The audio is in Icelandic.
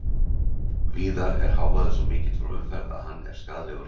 Víðar er hávaði svo mikill frá umferð að hann er skaðlegur heyrn.